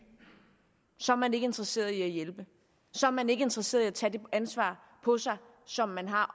så er man ikke interesseret i at hjælpe så er man ikke interesseret i at tage det ansvar på sig som man har